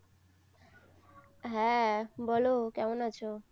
হ্যাঁ বলো কেমন আছো?